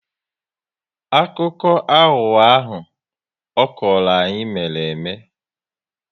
Akụkọ aghụghọ ahụ ọ kọrọ anyị mere eme